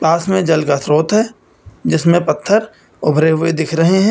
पास में जल का स्रोत है जिसमें पत्थर उभरे हुए दिख रहे--